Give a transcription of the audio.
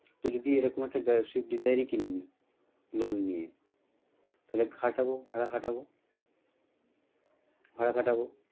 তো যদি এরকম একটা সুইফট ডীজার ই কিনে নিই loan নিয়ে, তাহলে খাটাবো ভাড়া খাটাবো ভাড়া খাটাবো ।